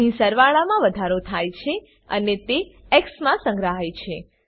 અહીં સરવાળામાં વધારો થાય છે અને તે એક્સ માં સંગ્રહાય છે